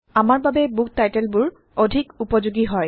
আমাৰ বাবে বুক টাইটলবোৰ160অধিক উপযোগী হয়